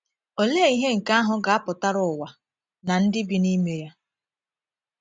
Olee ihe nke ahụ ga - apụtara ụwa na ndị bi n’ime ya?